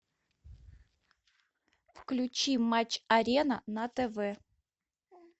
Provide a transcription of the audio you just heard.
включи матч арена на тв